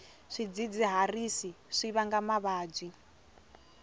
swidzidziharisi swi vanga mavabyi